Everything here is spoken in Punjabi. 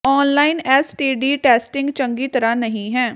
online S T D testing ਚੰਗੀ ਤਰ੍ਹਾਂ ਨਹੀਂ ਹੈ